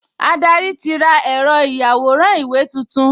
Adarí ti ra ẹ̀rọ ìyàwòrán-ìwé tuntun